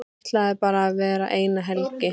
Ætlaði bara að vera eina helgi.